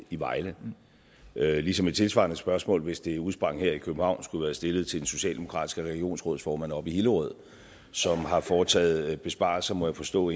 i vejle ligesom et tilsvarende spørgsmål hvis det udsprang her i københavn skulle være stillet til den socialdemokratiske regionsrådsformand oppe i hillerød som har foretaget besparelser må jeg forstå